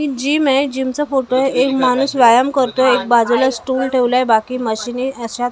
ही gym आहे gym चा photo आहे एक माणूस व्यायाम करतोय एक बाजूला स्टूल ठेवला आहे बाकी मशिनी अशा --